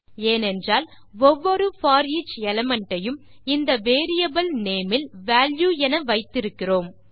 ஏனென்றால் ஒவ்வொரு போரிச் எலிமெண்ட் ஐயும் இந்த வேரியபிள் நேம் இல் வால்யூ என வைத்திருக்கிறோம்